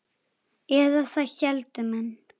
Eða það héldu menn.